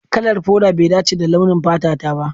Kalar foda bai dace da launin fata ta ba.